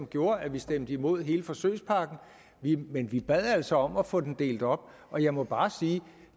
gjorde at vi stemte imod hele forsøgspakken men vi bad altså om at få den delt op og jeg må bare sige at